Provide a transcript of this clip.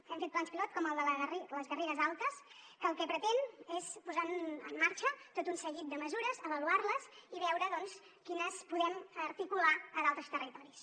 hem fet plans pilot com el de les garrigues altes que el que pretén és posar en marxa tot un seguit de mesures avaluar les i veure quines podem articular a d’altres territoris